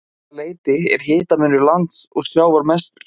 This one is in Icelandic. Um það leyti er hitamunur lands og sjávar mestur.